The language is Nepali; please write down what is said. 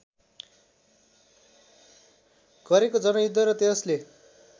गरेको जनयुद्ध र त्यसले